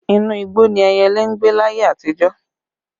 Inú igbó ni ẹyẹlé ń gbé láyé àtijó